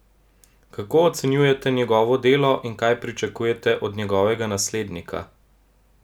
Kako ocenjujete njegovo delo in kaj pričakujete od njegovega naslednika?